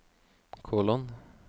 kolon